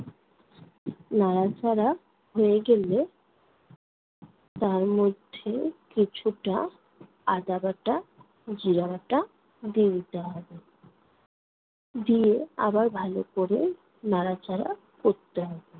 নাড়াচাড়া হয়ে গেলে তার মধ্যে কিছুটা আদা বাটা, জিরা বাটা দিয়ে দিতে হবে। দিয়ে, আবার ভালো কোরে নাড়াচাড়া করতে হবে।